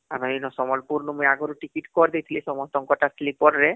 ଆମେ ଏଇ ନୁ ସମ୍ବଲପୁର ନୁ ମୁଇଁ ଟିସାକେତ କରିଦେଇଥିଲି ସମସ୍ତଙ୍କର ତsleeper ରେ